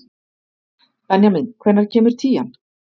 Benjamín, hvenær kemur tían?